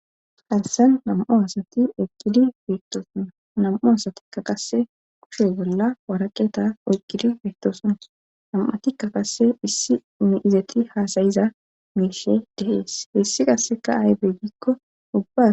Hansan nam'o asati eqqidi beettoosonna nam'o asatikka qasse kushe bolla waraqeta oyqidi beettooson nam7a tikka qasse hissi miizati haasayiza meishe dehees heessi qasseka aybe gikko ubba.